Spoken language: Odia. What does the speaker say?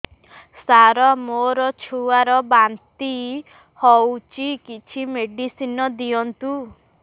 ସାର ମୋର ଛୁଆ ର ବାନ୍ତି ହଉଚି କିଛି ମେଡିସିନ ଦିଅନ୍ତୁ